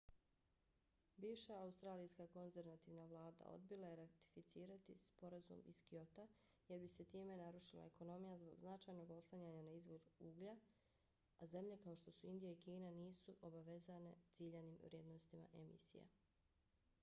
bivša australijska konzervativna vlada odbila je ratificirati sporazum iz kyota jer bi se time narušila ekonomija zbog značajnog oslanjanja na izvoz uglja a zemlje kao što su indija i kina nisu obavezane ciljanim vrijednostima emisija